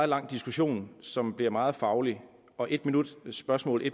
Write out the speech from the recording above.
lang diskussion som bliver meget faglig og en minut til spørgsmål og